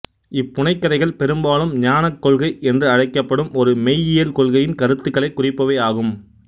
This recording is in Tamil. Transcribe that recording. இப்புனைகதைகள் பெரும்பாலும் ஞானக் கொள்கை என்று அழைக்கப்படும் ஒரு மெய்யியல் கொள்கையின் கருத்துகளைக் குறிப்பவை ஆகும்